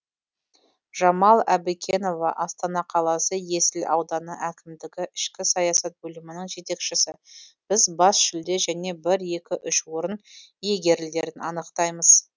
жамал әбікенова астана қаласы есіл ауданы әкімдігі ішкі саясат бөлімінің жетекшісі біз бас жүлде және бір екі үш орын иегерлерін анықтаймыз